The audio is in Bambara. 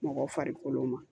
Mɔgɔ farikolo ma